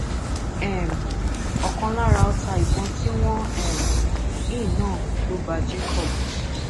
um ọkan lára ọta ìbọn tí wọn um ń yìn náà ló bá jacob